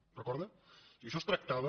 ho recorda o sigui en això es tractava